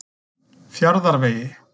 Fjarðarvegi